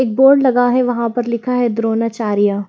एक बोर्ड लगा है वहां पर लिखा है द्रोणाचार्या।